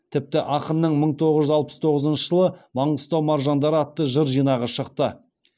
тіпті ақынның мың тоғыз жүз алпыс тоғызыншы жылы маңғыстау маржандары атты жыр жинағы шықты